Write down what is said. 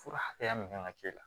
Fura hakɛya min kan ka k'e la